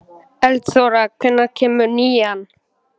Eldþóra, hvenær kemur nían?